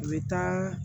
U bɛ taa